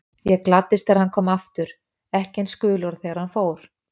Ég gladdist þegar hann kom aftur, ekki eins gulur og þegar hann fór.